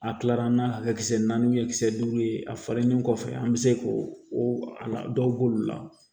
A kilara n'a kisɛ naani ye kisɛ duuru ye a falennen kɔfɛ an bɛ se k'o dɔw b'olu la